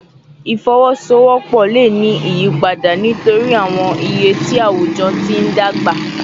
Ifowosowopo le ni awọn iyipada nitori awọn iye ti awujọ ti n dagba